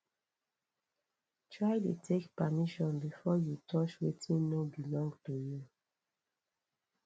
try de take permission before you touch wetin no belong to you